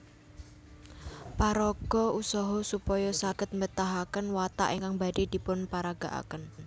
Paraga usaha supaya saged mbetahaken watak ingkang badhé dipunparagakaken